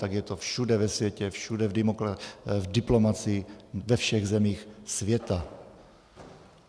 Tak je to všude ve světě, všude v diplomacii ve všech zemích světa.